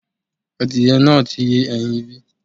Adìyẹ náà ti yé ẹyin bí?